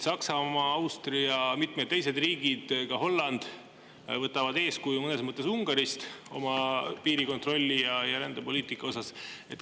Saksamaa, Austria, ka Holland ja mitmed teised riigid võtavad mõnes mõttes oma piirikontrolli ja rändepoliitika osas eeskuju Ungarist.